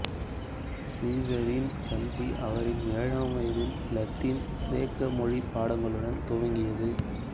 சீசரின் கல்வி அவரின் ஏழாம் வயதில் இலத்தீன் கிரேக்க மொழிப் பாடங்களுடன் துவங்கியது